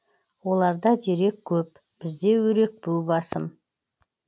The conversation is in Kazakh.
оларда дерек көп бізде өрекпу басым